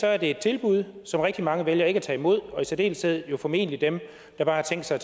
er det et tilbud som rigtig mange vælger ikke at tage imod og i særdeleshed er jo formentlig dem der bare har tænkt sig